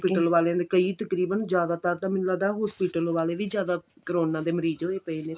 hospital ਵਾਲੀਆਂ ਦੇ ਕਈ ਤਕਰੀਬਨ ਜਿਆਦਾਤਰ ਤਾਂ ਮੈਨੂੰ ਲੱਗਦਾ hospital ਵਾਲੇ ਵੀ ਜਿਆਦਾ ਕਰੋਨਾ ਦੇ ਮਰੀਜ਼ ਹੋਏ ਪਾਏ ਨੇ